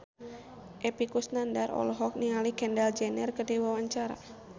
Epy Kusnandar olohok ningali Kendall Jenner keur diwawancara